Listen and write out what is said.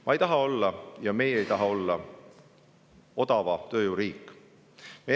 Ma ei taha olla – ja meie ei taha olla – odava tööjõu riik.